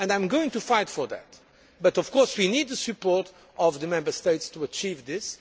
I am going to fight for that but, of course, we need the support of the Member States to achieve this.